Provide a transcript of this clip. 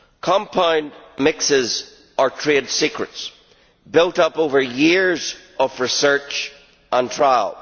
Compound mixes are trade secrets built up over years of research and trial.